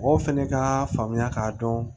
Mɔgɔw fɛnɛ ka faamuya k'a dɔn